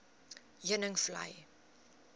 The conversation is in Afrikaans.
heuningvlei